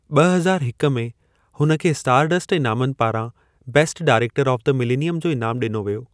ॿ हज़ार हिक में, हुन खे स्टारडस्ट इनामनि पारां best director of the millennium जो इनामु ॾिनो वियो।